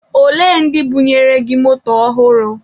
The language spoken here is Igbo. Olee ndị bunyere gị moto ọhụrụ?